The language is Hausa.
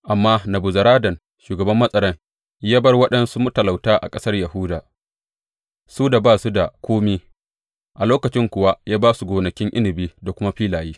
Amma Nebuzaradan shugaban matsaran ya bar waɗansu matalauta a ƙasar Yahuda, su da ba su da kome; a lokacin kuwa ya ba su gonakin inabi da kuma filaye.